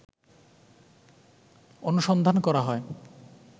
অনুসন্ধান করা হয়